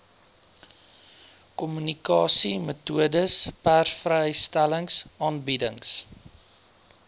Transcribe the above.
kommunikasiemetodes persvrystellings aanbiedings